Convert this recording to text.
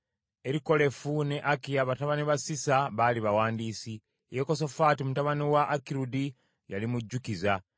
Erikolefu ne Akiya, batabani ba Sisa, baali bawandiisi, Yekosafaati mutabani wa Akirudi, yali mujjukiza,